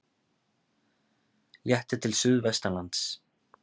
Léttir til suðvestanlands